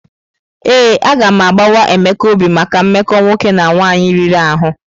Ee, agam agbawa Emeka obi maka mmekọ nwoke na nwaanyị riri ahụ.